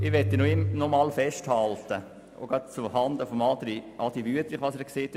Ich möchte noch etwas festhalten, gerade auch zuhanden von Grossrat Wüthrich.